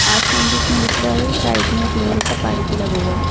आसमान भी इसमें दिख रहा है साइक में एक लोहे का पाइप भी लगा हुआ है।